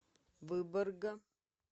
выборга